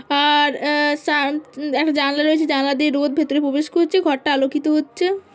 আর আহ সাঁ একটা জানলা রয়েছে জানলা দিয়ে রোদ ভেতরে প্রবেশ করছে ঘরটা আলোকিত হচ্ছে ।